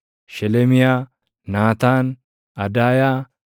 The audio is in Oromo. Shelemiyaa, Naataan, Adaayaa,